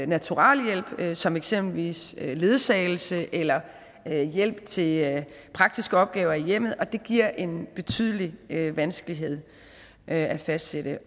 naturalhjælp som eksempelvis ledsagelse eller hjælp til praktiske opgaver i hjemmet det giver en betydelig vanskelighed at fastsætte